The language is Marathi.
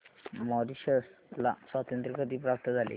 मॉरिशस ला स्वातंत्र्य कधी प्राप्त झाले